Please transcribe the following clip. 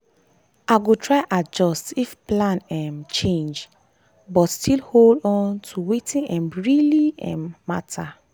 i go try adjust if plan um change but still hold on to wetin um really um matter.